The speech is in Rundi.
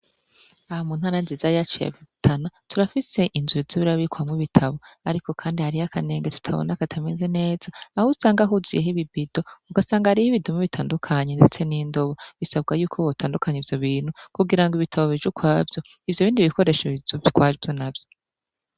Aha mu ntara nziza yacu ya Rutana turafise inzu iza irabikwamwo ibitabo kandi akanenge tutabona katameze neza aho usanga huzuyeho ibibido ugansanga hariyo ibidumu bitandukanye ndetse n'indobo bisabwa yuko botandukanya ivyo bintu kugirango ibitabo bije ukwavyo ivyo bindi bikoresho bije ukwavyo navyo.